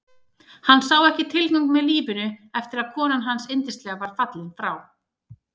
Hann sá ekki tilgang með lífinu eftir að konan hans yndislega var fallin frá.